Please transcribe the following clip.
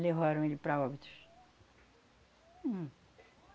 Levaram ele para óbitos. Hum.